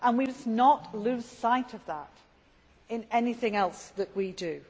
We must not lose sight of that in anything else that we do.